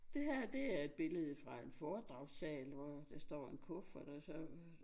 Det her det er et billede fra en foredragssal hvor der står en kuffert og så øh